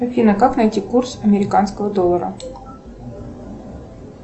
афина как найти курс американского доллара